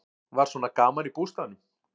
Var svona gaman í bústaðnum?